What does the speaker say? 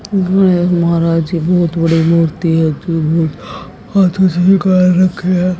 गणेश महाराज जी बहोत बड़ी मूर्ति है जो भी हाथों से निकाल रखे हैं